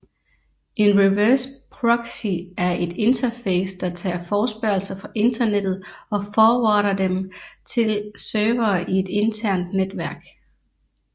En reverse proxy er et interface der tager forespørgsler fra internettet og forwarder dem til servere i et internt netværk